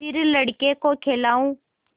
फिर लड़के को खेलाऊँ